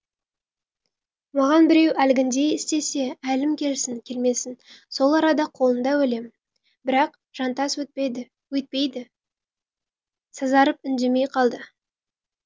маған біреу әлгіндей істесе әлім келсін келмесін сол арада қолында өлем бірақ жантас өйтпеді сазарып үндемей қалды